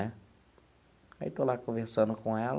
Aí estou lá conversando com ela.